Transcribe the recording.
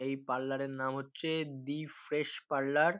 এই পার্লার এর নাম হচ্ছে দি ফ্রেশ পার্লার ।